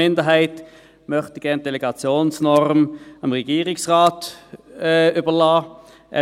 Die Minderheit möchte die Delegationsnorm dem Regierungsrat überlassen.